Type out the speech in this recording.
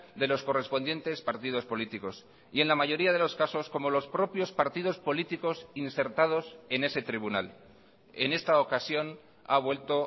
de los correspondientes partidos políticos y en la mayoría de los casos como los propios partidos políticos insertados en ese tribunal en esta ocasión ha vuelto